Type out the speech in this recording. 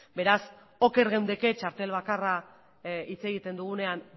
beraz oker geundeke txartel bakarra hitz egiten dugunean